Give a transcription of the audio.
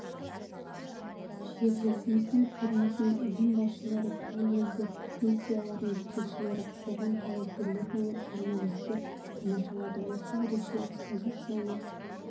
жерлесіміздің көрмесін ұйым басшылары түрлі елдер миссияларының жетекшілері қоғам қайраткерлері мен журналистер тамашалады осы ерекше экспозицияның